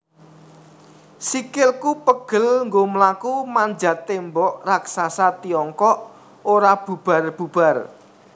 Sikilku pegel nggo mlaku manjat Tembok Raksasa Tiongkok ora bubar bubar